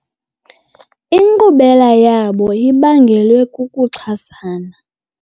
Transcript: Inkqubela yabo ibangelwe kukuxhasana.